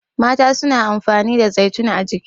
mata suna amfani da zaitun a jiki